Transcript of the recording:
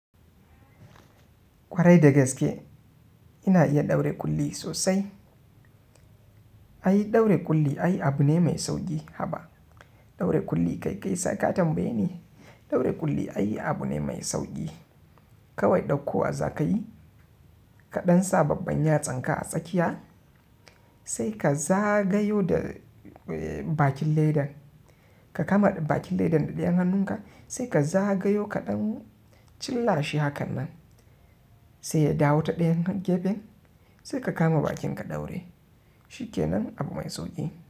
Kwarai da gaske ina iya ɗaure kulli sosai. Ai ɗaure kulli ai abu ne mai sauƙi. Haba! Ɗaure kulli kai kai sai ka tambaye ni. Ɗaure kulli ai abu ne mai sauƙi. Kawai ɗauko wa zakayi kaɗan sa babban yatsanka a tsakiya sai ka zagayo da bakin ledan. Ka kama bakin ledan da ɗayan hannunka sai ka zagayo ka ɗan cillashi hakan nan sai ya dawo ta ɗayan gefen sai ka kama bakinka ɗaure. Shi kenan abu mai sauƙi.